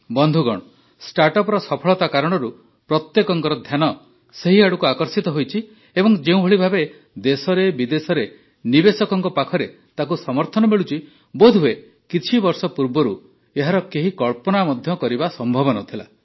ବନ୍ଧୁଗଣ ଷ୍ଟାର୍ଟଅପ୍ର ସଫଳତା କାରଣରୁ ପ୍ରତ୍ୟେକଙ୍କର ଧ୍ୟାନ ସେହିଆଡ଼କୁ ଆକର୍ଷିତ ହୋଇଛି ଏବଂ ଯେଉଁଭଳି ଭାବେ ଦେଶରେ ବିଦେଶରେ ନିବେଶକଙ୍କ ପାଖରେ ତାକୁ ସମର୍ଥନ ମିଳୁଛି ବୋଧହୁଏ କିଛିବର୍ଷ ପୂର୍ବରୁ ଏହାର କେହି କଳ୍ପନା ମଧ୍ୟ କରିବା ସମ୍ଭବ ନ ଥିଲା